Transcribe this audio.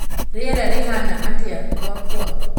rĩera rĩahaana atia gwakwa